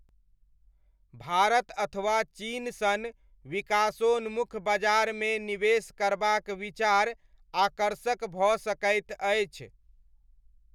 भारत अथवा चीन सन विकासोन्मुख बजारमे निवेश करबाक विचार आकर्षक भऽ सकैत अछि।